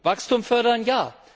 Wachstum fördern ja.